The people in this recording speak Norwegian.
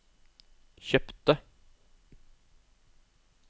kjøpte